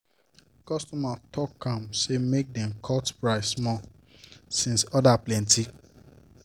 correct business babe go meet better money adviser make e help rearrange help rearrange her investment plan.